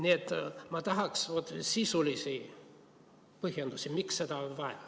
Nii et ma tahaksin sisulisi põhjendusi, miks seda on vaja.